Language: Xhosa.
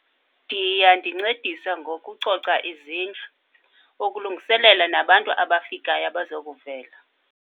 Ndiya ndincedisa ngokucoca izindlu. Ukulungiselela nabantu abafikayo abazokuvela.